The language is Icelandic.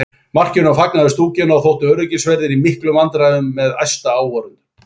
Markinu var fagnað við stúkuna og áttu öryggisverðir í miklum vandræðum með æsta áhorfendur.